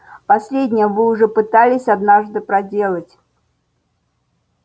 последнее вы уже пытались однажды проделать